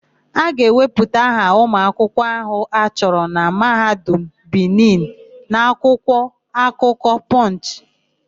A ga-ewepụta aha ụmụakwụkwọ áhụ̀ a chụrụ na Mahadum Bini n'akwụkwọ akụkọ Pọnchị.